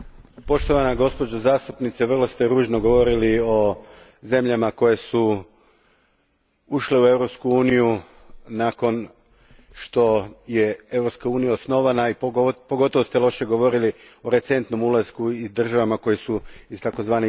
Poštovana gospođo zastupnice, vrlo ste ružno govorili o zemljama koje su ušle u Europsku uniju nakon što je Europska unija osnovana, i pogotovo ste loše govorili o recentnom ulasku i državama koje su iz tzv.